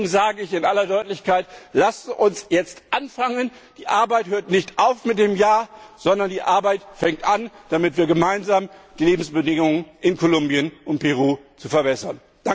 Deswegen sage ich in aller Deutlichkeit Lasst uns jetzt anfangen, die Arbeit hört nicht auf mit diesem Jahr, sondern die Arbeit fängt an, damit wir gemeinsam die Lebensbedingungen in Kolumbien und Peru verbessern.